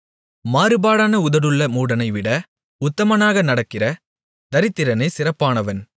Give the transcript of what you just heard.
மாறுபாடான உதடுகளுள்ள மூடனைவிட உத்தமனாக நடக்கிற தரித்திரனே சிறப்பானவன்